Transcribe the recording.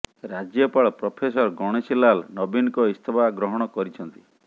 ରାଜ୍ୟପାଳ ପ୍ରଫେସର ଗଣେଶୀ ଲାଲ୍ ନବୀନଙ୍କ ଇସ୍ତଫା ଗ୍ରହଣ କରିଛନ୍ତି